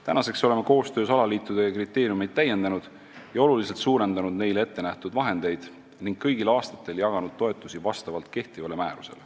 Tänaseks oleme koostöös alaliitudega kriteeriumeid täiendanud, oluliselt suurendanud neile ette nähtud vahendeid ja kõigil aastatel jaganud toetusi vastavalt kehtivale määrusele.